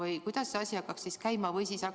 Või kuidas see asi hakkab käima?